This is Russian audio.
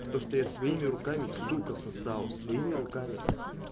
то что я своими руками сука создал своими руками